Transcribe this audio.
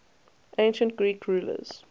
ancient greek rulers